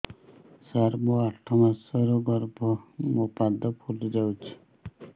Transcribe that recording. ସାର ମୋର ଆଠ ମାସ ଗର୍ଭ ମୋ ପାଦ ଫୁଲିଯାଉଛି